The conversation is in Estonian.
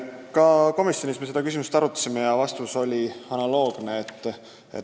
Me arutasime seda ka komisjonis ja vastus oli analoogne.